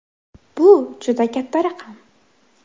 Bu juda katta raqam.